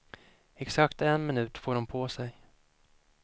Exakt en minut får hon på sig.